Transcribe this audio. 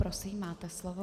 Prosím, máte slovo.